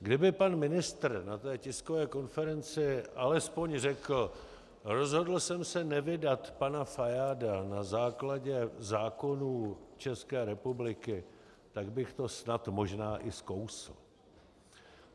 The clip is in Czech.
Kdyby pan ministr na té tiskové konferenci alespoň řekl "rozhodl jsem se nevydat pana Fajáda na základě zákonů České republiky", tak bych to snad možná i skousl.